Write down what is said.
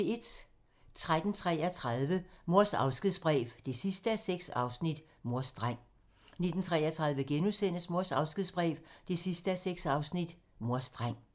13:33: Mors afskedsbrev 6:6 – Mors dreng 19:33: Mors afskedsbrev 6:6 – Mors dreng *